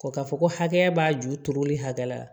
Ko ka fɔ ko hakɛya b'a ju turuli hakɛ la